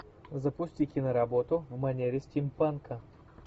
запусти киноработу в манере стимпанка